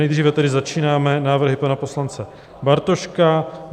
Nejdříve tedy začínáme návrhy pana poslance Bartoška.